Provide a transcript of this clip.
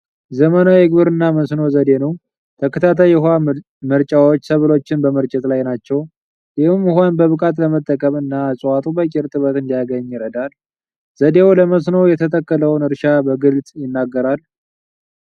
ዘመናዊ የግብርና መስኖ ዘዴ ነው። ተከታታይ የውሃ መርጫዎች ሰብሎችን በመርጨት ላይ ናቸው። ይህም ውሃን በብቃት ለመጠቀም እና እፅዋቱ በቂ እርጥበት እንዲያገኙ ይረዳል። ዘዴው ለመስኖ የተተከለውን እርሻ በግልጽ ይናገራል።